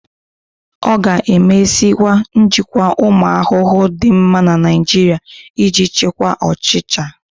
A ga-emeziwanye njikwa ụmụ ahụhụ dị mma na Naijiria iji chịkwaa ọchịcha.